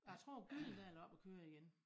Jeg tror Gyldendal er oppe og køre igen